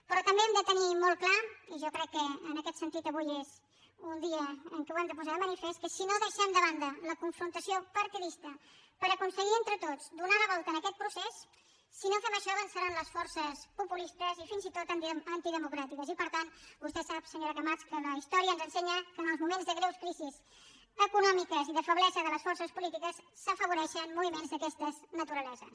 però també hem de tenir molt clar i jo crec que en aquest sentit avui és un dia en què ho hem de posar de manifest que si no deixem de banda la confrontació partidista per aconseguir entre tots donar la volta a aquest procés si no fem això avançaran les forces populistes i fins i tot antidemocràtiques i per tant vostè sap senyora camats que la història ens ensenya que en els moments de greus crisis econòmiques i de feblesa de les forces polítiques s’afavoreixen moviments d’aquestes naturaleses